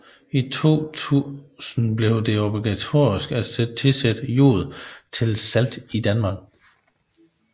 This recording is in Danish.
I år 2000 blev det obligatorisk at tilsætte jod til salt i Danmark